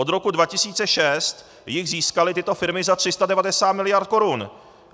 Od roku 2006 jich získaly tyto firmy za 390 miliard korun.